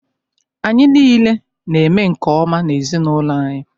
Anyị niile na-eme nke-ọma n’ezinụlọ anyị